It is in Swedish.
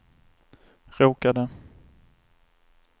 råkade